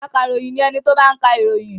Akaròyìn ni ẹni tó máa ń ka ìròyìn.